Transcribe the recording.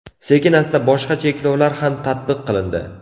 Sekin-asta boshqa cheklovlar ham tatbiq qilindi.